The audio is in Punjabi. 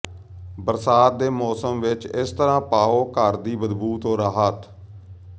ਬਰਸਾਤ ਦੇ ਮੌਸਮ ਵਿਚ ਇਸ ਤਰ੍ਹਾਂ ਪਾਓ ਘਰ ਦੀ ਬਦਬੂ ਤੋਂ ਰਾਹਤ